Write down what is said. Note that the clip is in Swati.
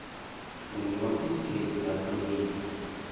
sinemabhizinisi lahlukile